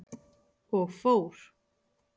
Og fór.